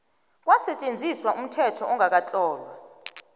kwasetjenziswa umthetho ongakatlolwa